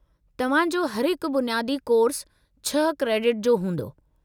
तव्हां जो हर हिकु बुनियादी कोर्सु छह क्रेडिट जो हूंदो।